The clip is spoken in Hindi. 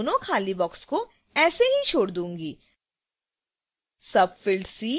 तो मैं दोनों खाली boxes को ऐसे ही छोड़ दूंगी